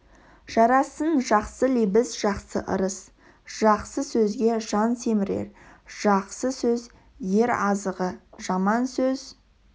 жарасын жақсы лебіз жақсы ырыс жақсы сөзге жан семірер жақсы сөз ер азығы жаман сөз